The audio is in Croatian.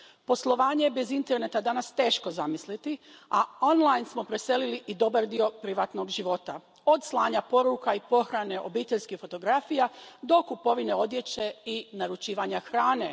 Poslovanje je bez interneta danas teško zamisliti, a smo preselili i dobar dio privatnog života od slanja poruka i pohrane obiteljskih fotografija do kupovine odjeće i naručivanja hrane.